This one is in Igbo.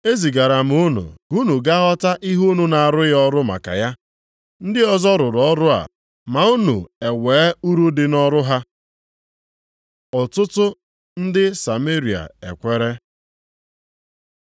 E zigara m unu ka unu gaa ghọta ihe unu na-arụghị ọrụ maka ya. Ndị ọzọ rụrụ ọrụ a, ma unu ewe uru dị nʼọrụ ha.” Ọtụtụ ndị Sameria e kwere